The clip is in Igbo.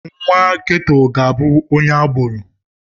Nwa Ghetto ga-abụ onye agboro.